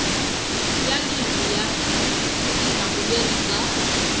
ya livhi ya vutihlamuleri bya